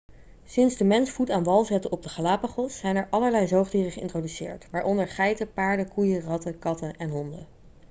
sinds de mens voet aan wal zette op de galapagos zijn er allerlei zoogdieren geïntroduceerd waaronder geiten paarden koeien ratten katten en honden